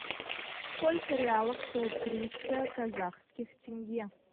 сколько реалов стоит триста казахских тенге